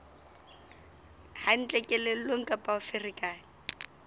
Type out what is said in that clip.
hantle kelellong kapa o ferekane